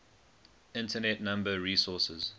internet number resources